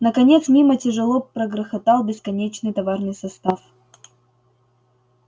наконец мимо тяжело прогрохотал бесконечный товарный состав